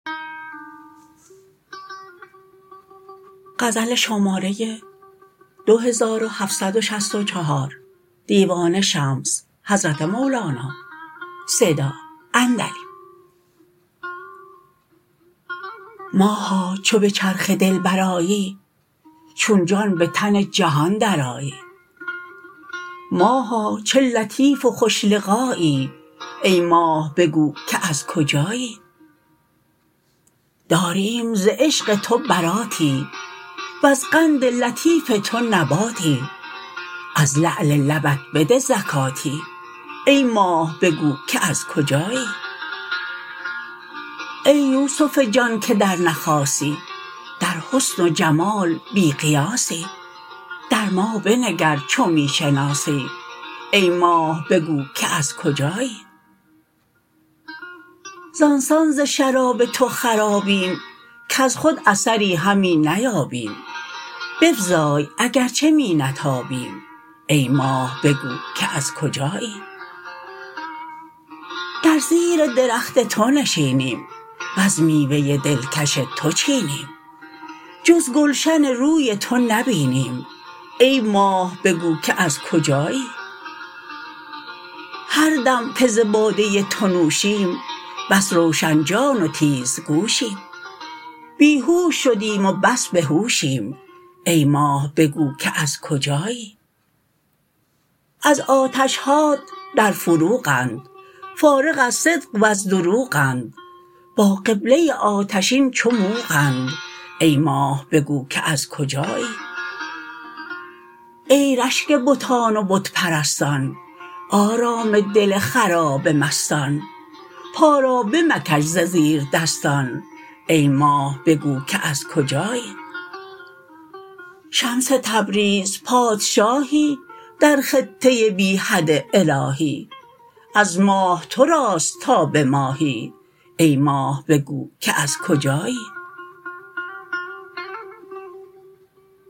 ماها چو به چرخ دل برآیی چون جان به تن جهان درآیی ماها چه لطیف و خوش لقایی ای ماه بگو که از کجایی داریم ز عشق تو براتی وز قند لطیف تو نباتی از لعل لبت بده زکاتی ای ماه بگو که از کجایی ای یوسف جان که در نخاسی در حسن و جمال بی قیاسی در ما بنگر چو می شناسی ای ماه بگو که از کجایی زان سان ز شراب تو خرابیم کز خود اثری همی نیابیم بفزای اگر چه می نتابیم ای ماه بگو که از کجایی در زیر درخت تو نشینیم وز میوه دلکش تو چینیم جز گلشن روی تو نبینیم ای ماه بگو که از کجایی هر دم که ز باده تو نوشیم بس روشن جان و تیزگوشیم بی هوش شدیم و بس به هوشیم ای ماه بگو که از کجایی از آتش هات در فروغند فارغ از صدق وز دروغند با قبله آتشین چو موغند ای ماه بگو که از کجایی ای رشک بتان و بت پرستان آرام دل خراب مستان پا را بمکش ز زیردستان ای ماه بگو که از کجایی شمس تبریز پادشاهی در خطه بی حد الهی از ماه تو راست تا به ماهی ای ماه بگو که از کجایی